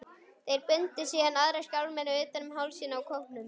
Þeir bundu síðan aðra skálmina utan um hálsinn á kópnum.